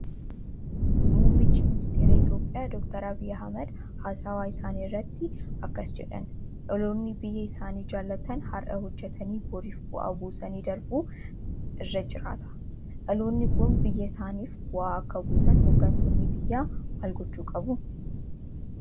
Muummichi Ministeeraa Itoophiyaa Doktor Abiy Ahimed haasawaa isaanii irratti akkas jedhan "dhaloonni biyya isaanii jaallatan har'a hojjetaanii boriif bu'aa buusanii darbuun irra jiraata". Dhaloonni kun biyya isaaniif bu'aa akka buusaniif hoggantoonni biyyaa maal gochuu qabu?